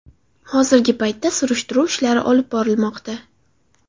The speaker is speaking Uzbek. Hozirgi paytda surishtiruv ishlari olib borilmoqda.